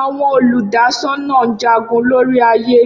Awọn oludasọna Njagun lori aaye